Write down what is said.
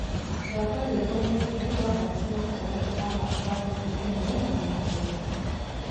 thaka rwĩmbo ruothe rwa thakirwo gatagati ka mwaka wa ngiri ĩmwe magana kenda